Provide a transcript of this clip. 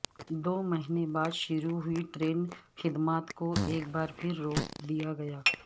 دومہنے بعدشروع ہوئی ٹرین خدمات کو ایک بار پھرروک دیاگیا